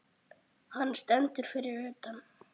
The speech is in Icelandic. Hann stendur fyrir utan.